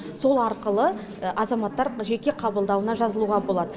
сол арқылы азаматтар жеке қабылдауына жазылуға болады